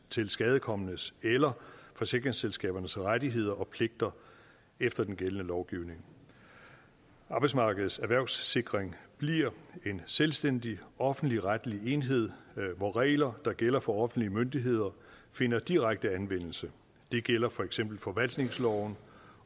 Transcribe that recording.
tilskadekomnes eller forsikringsselskabernes rettigheder og pligter efter den gældende lovgivning arbejdsmarkedets erhvervssikring bliver en selvstændig offentligretlig enhed hvor regler der gælder for offentlige myndigheder finder direkte anvendelse det gælder for eksempel forvaltningsloven